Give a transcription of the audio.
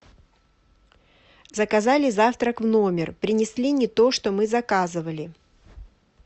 заказали завтрак в номер принесли не то что мы заказывали